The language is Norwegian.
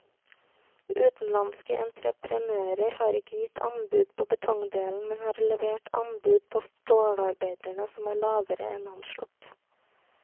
Utenlandske entreprenører har ikke gitt anbud på betongdelen, men har levert anbud på stålarbeidene som er lavere enn anslått.